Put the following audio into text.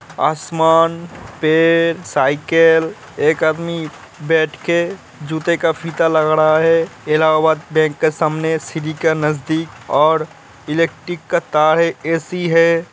आसमान पेड़ साइकिल एक आदमी बैठ के जूते का फीता लगा रहा है इलाहाबाद बैंक के सामने सिटी के नज़दीक और इलेक्ट्रिक का तार है ए सी है |